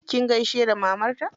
Kin gaishe da mamarta?